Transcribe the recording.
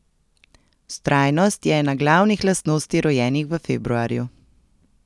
Vztrajnost je ena glavnih lastnosti rojenih v februarju.